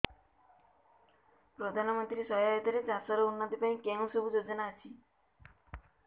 ପ୍ରଧାନମନ୍ତ୍ରୀ ସହାୟତା ରେ ଚାଷ ର ଉନ୍ନତି ପାଇଁ କେଉଁ ସବୁ ଯୋଜନା ଅଛି